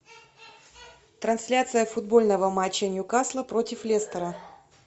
трансляция футбольного матча ньюкасла против лестера